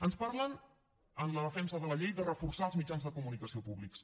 ens parlen en la defensa de la llei de reforçar els mitjans de comunicació públics